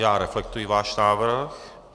Já reflektuji váš návrh.